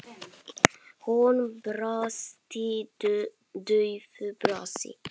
Hún brosti daufu brosi.